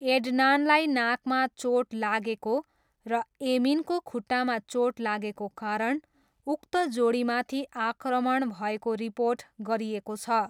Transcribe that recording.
एड्नानलाई नाकमा चोट लागेको र एमिनको खुट्टामा चोट लागेको कारण उक्त जोडीमाथि आक्रमण भएको रिपोर्ट गरिएको छ।